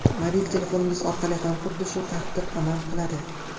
Mobil telefoningiz orqali ham xuddi shu tartib amal qiladi.